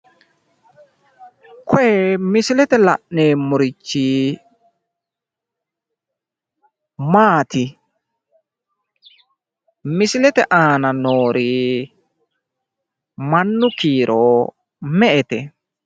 Koye misilete la'neemmorichi maati? Misilete aana noori mannu kiiro me"ete?